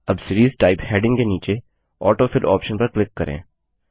अब series type heading के नीचे ऑटोफिल ऑप्शन पर क्लिक करें